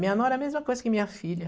Minha nora é a mesma coisa que minha filha.